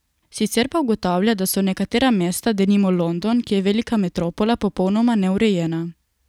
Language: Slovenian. Sicer pa ugotavlja, da so nekatera mesta, denimo London, ki je velika metropola, popolnoma neurejena.